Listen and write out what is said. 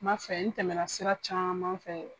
N m'a fɛ n tɛmɛ na sira caman fɛ.